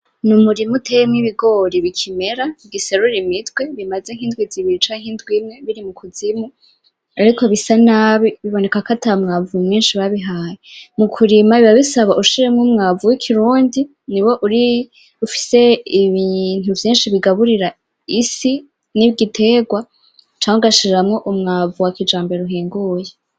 N'umurima uteyemwo ibigori bikimera, bigiserura imitwe bimaze nk'indwi zibiri canke indwi imwe biri mukuzimu. Ariko bisa nabi biboneka ko atamwavu mwinshi babihaye. Mukurima biba bisaba ushiremwo umwavu w'ikirundi niwo uri ufise ibintu vyinshi bigaburira isi, nigiterwa canke ugashiramwo umwavu wakijambere uhinguye.